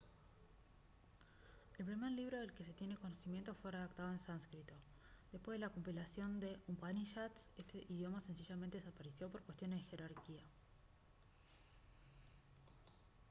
el primer libro del que se tiene conocimiento fue redactado en sánscrito después de la compilación de upanishads este idioma sencillamente desapareció por cuestiones de jerarquía